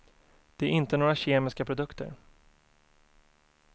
Det är inte några kemiska produkter.